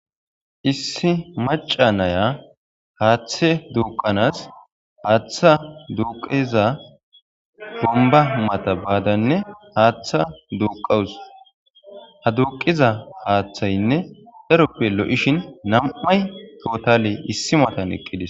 Issi maca naya haaththe duuqanas haaththa duuqiza bomba mata baadanne haaththa duuqawus ha duuqiza haaththaynne daaroppe lo7ishin nam7ay totale issi matan eqqidesi.